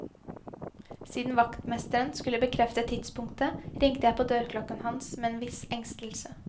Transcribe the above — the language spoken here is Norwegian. Siden vaktmesteren skulle bekrefte tidspunktet, ringte jeg på dørklokken hans med en viss engstelse.